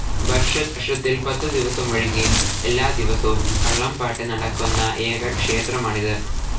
വർഷത്തിൽ‌ പത്ത് ദിവസമൊഴികെ എല്ലാദിവസവും കളംപാട്ട് നടക്കുന്ന ഏക ക്ഷേത്രമാണിത്.